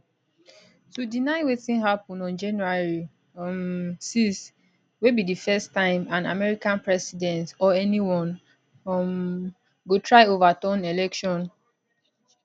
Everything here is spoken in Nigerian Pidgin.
to deny wetin happun on january um 6 wey be di first time an american president or anyone um go try overturn election